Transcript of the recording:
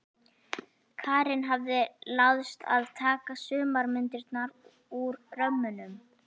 Karen hafði láðst að taka sumar myndirnar úr römmunum.